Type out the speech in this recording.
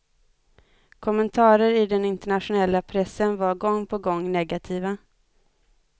Kommentarer i den internationella pressen var gång på gång negativa.